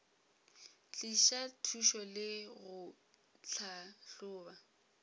tliša thušo le go tlhahloba